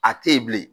A te yen bilen